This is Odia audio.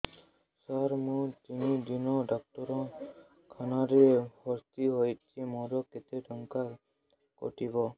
ସାର ମୁ ତିନି ଦିନ ଡାକ୍ତରଖାନା ରେ ଭର୍ତି ହେଇଛି ମୋର କେତେ ଟଙ୍କା କଟିବ